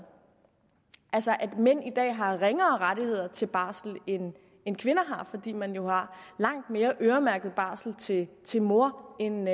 altså at mænd i dag har ringere rettigheder til barsel end end kvinder har fordi man jo har langt mere øremærket barsel til til mor end